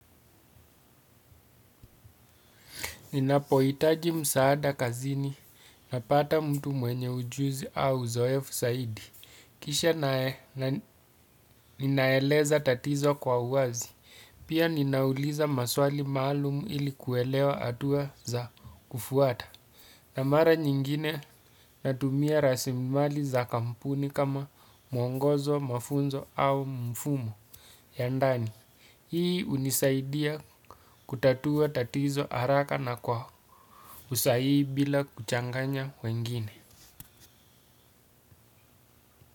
Ninapohitaji msaada kazini napata mtu mwenye ujuzi au uzoefu zaidi. Kisha ninaeleza tatizo kwa uwazi, pia ninauliza maswali maalumu ili kuelewa hatua za kufuata. Na mara nyingine natumia rasilimali za kampuni kama mwongozo, mafunzo au mfumo ya ndani. Hii hunisaidia kutatua tatizo haraka na kwa usahihi bila. Kuchanganya wengine.